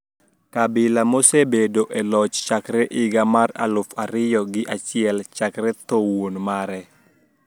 Kabila, mosebedo e loch chakre higa mar aluf ariyo gi achiel chakre tho wuon mare.